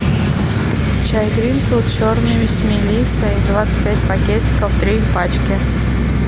чай гринфилд черный с мелиссой двадцать пять пакетиков три пачки